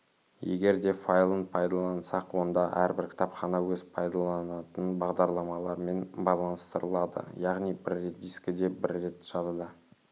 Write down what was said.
егер де файлын пайдалансақ онда әрбір кітапхана өзін пайдаланатын бағдарламалармен байланыстырылады яғни бір рет дискіде бір рет жадыда